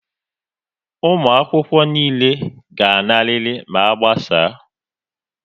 Ụmụakwụkwọ niile ga-anarịrị ma a gbasaa!